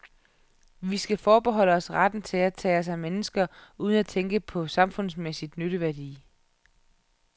Vi skal forbeholde os retten til at tage os af mennesker uden at tænke på samfundsmæssig nytteværdi.